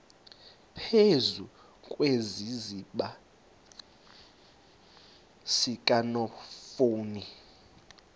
phezu kwesiziba sikanophoyi